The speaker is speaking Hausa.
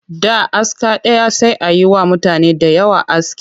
Da aska ɗaya sai a yi wa mutane da yawa aski